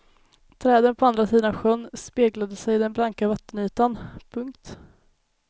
Träden på andra sidan sjön speglade sig i den blanka vattenytan. punkt